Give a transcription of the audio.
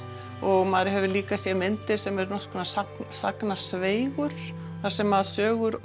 og maður hefur líka séð myndir sem eru nokkurs konar sagnasveigur þar sem sögur